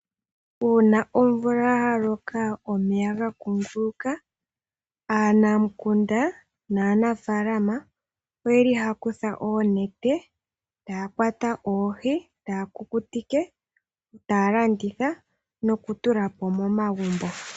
Uuna omvula ya loka omeya ga kunguluka aanamukunda naanafalama oyeli haa kutha oonete taa kwata oohi ,taa kukutike ,taa landitha nokutula po momagumbo.